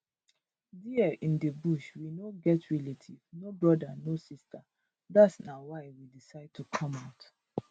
dia in di bush we no get relative no brother no sister dat na why we decide to come out